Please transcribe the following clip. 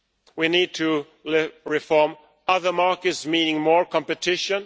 We need to reform other markets, meaning more competition.